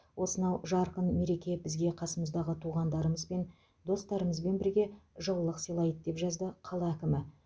осынау жарқын мереке бізге қасымыздағы туғандарымызбен достарымызбен бірге жылылық сыйлайды деп жазды қала әкімі